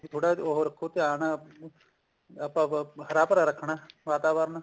ਕੇ ਥੋੜਾ ਜਾ ਉਹ ਰੱਖੋ ਧਿਆਨ ਆਪਾਂ ਹਰਾ ਭਰਾ ਰੱਖਣਾ ਵਾਤਾਵਰਣ